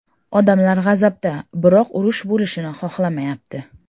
Odamlar g‘azabda, biroq urush bo‘lishini xohlamayapti.